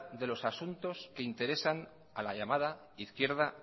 de los asuntos que interesan a la llamada izquierda